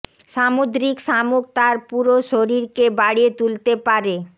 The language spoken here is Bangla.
সামুদ্রিক শামুক তার পুরো শরীর কে বাড়িয়ে তুলতে পারে